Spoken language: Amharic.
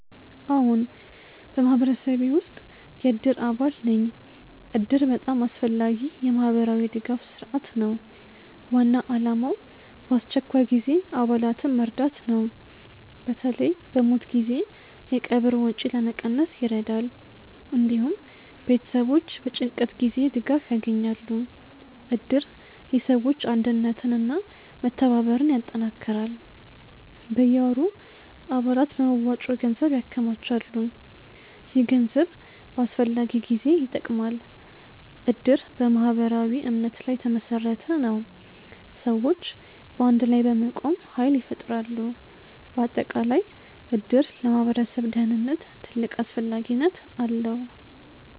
አዎን፣ በማህበረሰቤ ውስጥ የእድር አባል ነኝ እድር በጣም አስፈላጊ የማህበራዊ ድጋፍ ስርዓት ነው። ዋና ዓላማው በአስቸኳይ ጊዜ አባላትን መርዳት ነው። በተለይ በሞት ጊዜ የቀብር ወጪ ለመቀነስ ይረዳል። እንዲሁም ቤተሰቦች በጭንቀት ጊዜ ድጋፍ ያገኛሉ። እድር የሰዎች አንድነትን እና መተባበርን ያጠናክራል። በየወሩ አባላት በመዋጮ ገንዘብ ያከማቻሉ። ይህ ገንዘብ በአስፈላጊ ጊዜ ይጠቅማል። እድር በማህበራዊ እምነት ላይ የተመሰረተ ነው። ሰዎች በአንድ ላይ በመቆም ኃይል ይፈጥራሉ። በአጠቃላይ እድር ለማህበረሰብ ደህንነት ትልቅ አስፈላጊነት አለው።